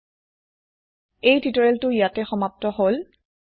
spoken tutorial ইয়াতে সমাপ্ত হল